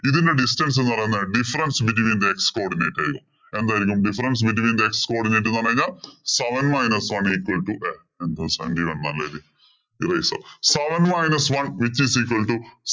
ഇതിന്‍റെ distance എന്ന് പറയുന്നത് difference between codinate ആയിരിക്കും. എന്തായിരിക്കും difference between the x codinates എന്ന് പറഞ്ഞു കഴിഞ്ഞാല്‍ seven minus one equal to seven minus one which is equal to